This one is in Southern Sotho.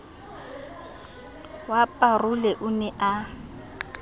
wa parole o ne o